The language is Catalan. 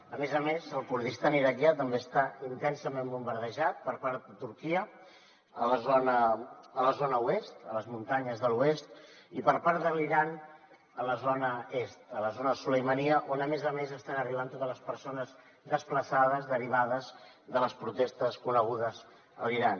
a més a més el kurdistan iraquià també està intensament bombardejat per part de turquia a la zona oest a les muntanyes de l’oest i per part de l’iran a la zona est a la zona sulaimaniya on a més a més estan arribant totes les persones desplaçades derivades de les protestes conegudes a l’iran